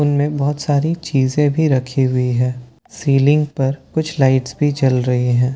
उनमें बहोत सारी चीजें भी रखी हुई है सीलिंग पर कुछ लाईट्स भी जल रही हैं।